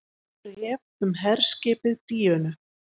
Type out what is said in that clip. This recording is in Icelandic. BRÉF UM HERSKIPIÐ DÍÖNU